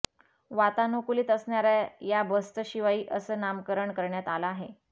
वातानुकूलित असणाऱ्या या बसचं शिवाई असं नामकरण करण्यात आलं आहे